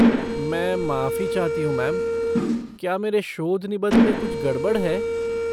मैं माफ़ी चाहती हूँ मैम, क्या मेरे शोध निबंध में कुछ गड़बड़ है?